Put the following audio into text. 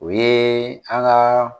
O ye an ga